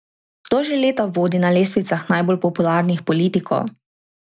Kdo že leta vodi na lestvicah najbolj popularnih politikov?